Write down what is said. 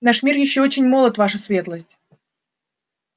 наш мир ещё очень молод ваша светлость